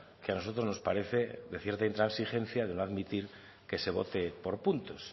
que a nosotros nos parece de cierta intransigencia de no admitir que se vote por puntos